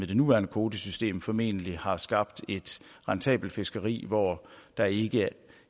det nuværende kvotesystem formentlig har skabt et rentabelt fiskeri hvor der ikke